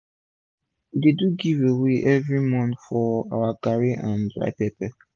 we dey do giveaway everi month for our garri and dry pepper